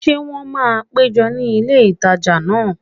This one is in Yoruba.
Ṣé wọ́n máa péjọ ní ilé ìtajà náà?